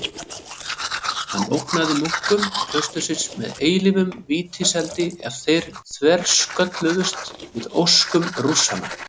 Hann ógnaði munkum klaustursins með eilífum vítiseldi ef þeir þverskölluðust við óskum Rússanna.